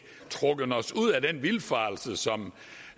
trukket os ud af den vildfarelse som